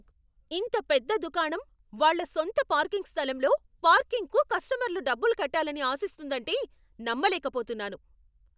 ఇంత పెద్ద దుకాణం వాళ్ళ సొంత పార్కింగ్ స్థలంలో పార్కింగ్కు కస్టమర్లు డబ్బులు కట్టాలని ఆశిస్తుందంటే నమ్మలేకపోతున్నాను!